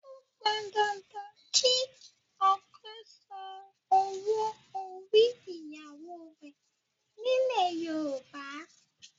Ó pọn dandan kí ọkọ san owó orí ìyàwó rẹ̀ nílẹ̀ Yorùbá